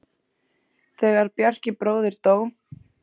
Þegar Bjarki bróðir dó.